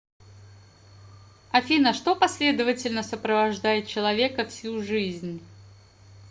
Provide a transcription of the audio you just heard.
афина что последовательно сопровождает человека всю жизнь